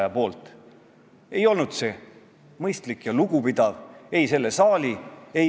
Ta kõneleb seal, et Ida-Virumaa ja Tallinna peale on üldhariduskoolides ja lasteaedades kokku 1800 haridustöötajat, kelle keeletase ei vasta nõuetele.